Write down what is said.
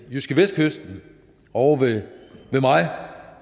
jydskevestkysten ovre ved mig